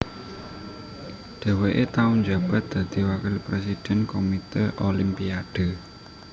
Dhèwèké tau njabat dadi Wakil Présidèn Komité Olimpiade